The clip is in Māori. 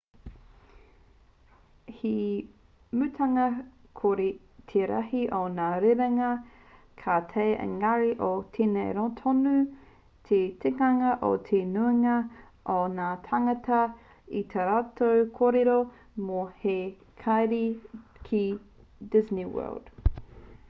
he mutunga kore te rahi o ngā rerenga ka taea ēngari ko tēnei tonu te tikanga o te nuinga o ngā tāngata i tā rātou kōrero mō te haere ki disney world